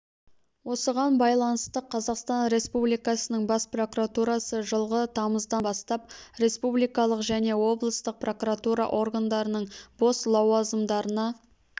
осыған байланысты қазақстан республикасының бас прокуратурасы жылғы тамыздан бастап республикалық және облыстық прокуратура органдарының бос лауазымдарына